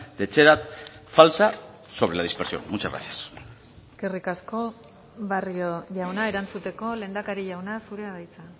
de etxerat falsa sobre la dispersión muchas gracias eskerrik asko barrio jauna erantzuteko lehendakari jauna zurea da hitza